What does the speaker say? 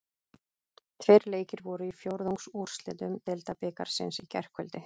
Tveir leikir voru í fjórðungsúrslitum Deildabikarsins í gærkvöld.